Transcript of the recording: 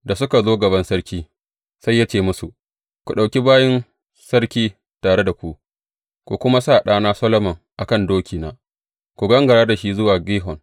Da suka zo gaban sarki, sai ya ce musu, Ku ɗauki bayin sarki tare da ku, ku kuma sa ɗana Solomon a kan dokina, ku gangara da shi zuwa Gihon.